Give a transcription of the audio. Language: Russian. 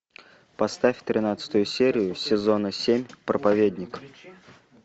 поставь тринадцатую серию сезона семь проповедник